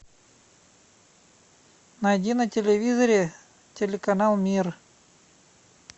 найди на телевизоре телеканал мир